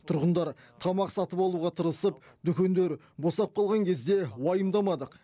тұрғындар тамақ сатып алуға тырысып дүкендер босап қалған кезде уайымдамадық